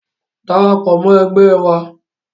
Darapọ̀ mọ́ ẹgbẹ́ wa.